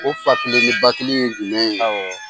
O fa kelen ni ba kelen ye jumɛn ye.